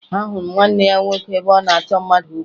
Ahụrụ m ebe nwanne ya nwoke na-achọ mmadụ okwu